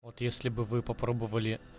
вот если бы вы попробовали